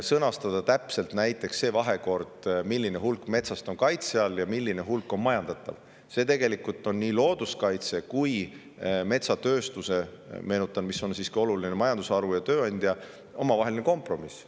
Sõnastada täpselt näiteks see vahekord, milline hulk metsast on kaitse all ja milline hulk on majandatav, on tegelikult looduskaitse ja metsatööstuse – meenutan, et see on siiski oluline majandusharu ja tööandja – omavaheline kompromiss.